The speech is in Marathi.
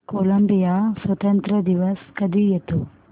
कोलंबिया स्वातंत्र्य दिवस कधी येतो